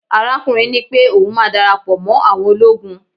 arakunrin nipé oun ma darapo mo àwọn ologun